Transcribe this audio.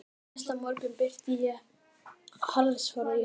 Næsta morgun birti yfir harðfrosna jörð.